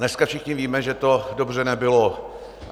Dneska všichni víme, že to dobře nebylo.